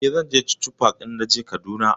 Eh, zan je chuchu park idan naje Kaduna.